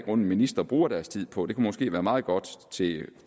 er ministre bruger deres tid på det kan måske være meget godt til en